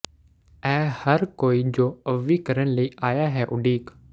ਇਹ ਹਰ ਕੋਈ ਜੋ ਅਵ੍ਵੀ ਕਰਨ ਲਈ ਆਇਆ ਹੈ ਉਡੀਕ